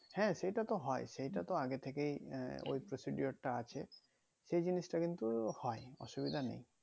হ্যাঁ সেটা তো হয় সেটা তো আগে থেকেই আহ ওই procedure তা আছে সেই জিনিষটা কিন্তু হয় অসুবিধা নেই